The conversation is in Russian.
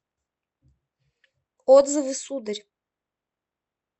отзывы сударь